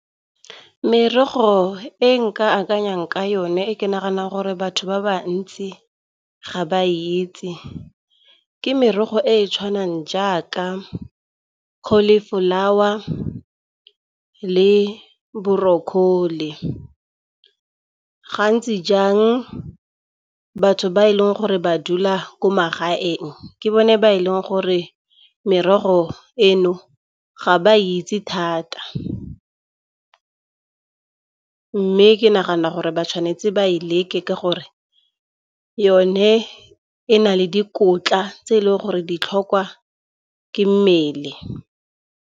Merogo e nka akanyang ka yone e ke naganang gore batho ba ba ntsi ga ba e itse, ke merogo e e tshwanang jaaka cauliflower le broccoli. Gantsi jang batho ba e leng gore ba dula ko magaeng ke bone ba e leng gore merogo eno ga ba itse thata. Mme ke nagana gore ba tshwanetse ba e leke ka gore yone e na le dikotla tse e leng gore ditlhokwa ke mmele.